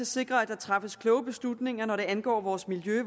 sikre at der træffes kloge beslutninger når det angår vores miljø